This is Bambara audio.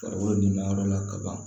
Farikolo nin mayɔrɔ la kaban